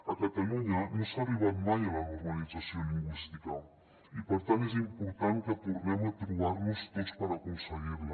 a catalunya no s’ha arribat mai a la normalització lingüística i per tant és important que tornem a trobar nos tots per aconseguir la